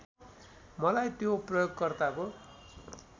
मलाई त्यो प्रयोगकर्ताको